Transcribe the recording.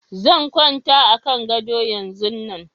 Zan kwanta a kan gado yanzun nan